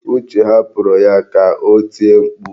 Uche hapụrụ ya ka o tie mkpu.